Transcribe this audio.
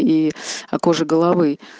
и кожи головы